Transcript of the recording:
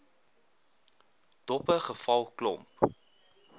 doppe geval klomp